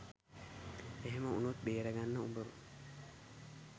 එහෙම උණොත් බේරගන්න උඹව